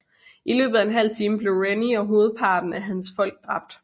I løbet af en halv time blev Rennie og hovedparten af hans folk dræbt